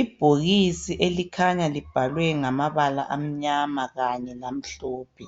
Ibhokisi elikhanya libhaliwe ngamabala amnyama kanye namhlophe